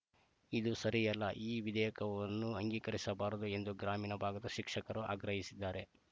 ಇದು ಸರಿಯಲ್ಲ ಈ ವಿಧೇಯಕವನ್ನು ಅಂಗೀಕರಿಸಬಾರದು ಎಂದು ಗ್ರಾಮೀಣ ಭಾಗದ ಶಿಕ್ಷಕರು ಆಗ್ರಹಿಸಿದ್ದಾರೆ